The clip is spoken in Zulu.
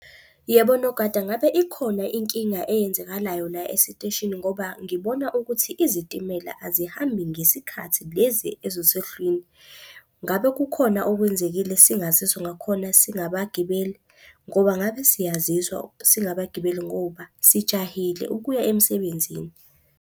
Yebo nogada, ngabe ikhona inkinga eyenzekalayo la esiteshini? Ngoba ngibona ukuthi izitimela azihambi ngesikhathi lezi ezuswehlwini. Ngabe kukhona okwenzekile singaziswa ngakhona singabagibeli? Ngoba ngabe siyaziswa singabagibeli ngoba sijahile ukuya emsebenzini.